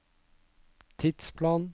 tidsplan